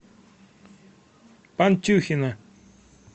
пантюхина